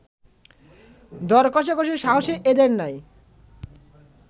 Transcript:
দর কষাকষির সাহসই এদের নাই